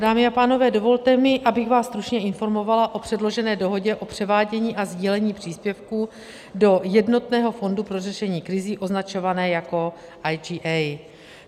Dámy a pánové, dovolte mi, abych vás stručně informovala o předložené dohodě o převádění a sdílení příspěvků do Jednotného fondu pro řešení krizí, označovaného jako IGA.